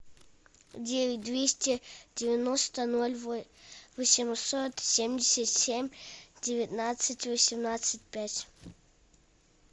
девять двести девяносто ноль восемьсот семьдесят семь девятнадцать восемнадцать пять